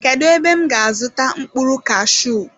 Kedụ ebe m ga azuta mkpụrụ kashuu?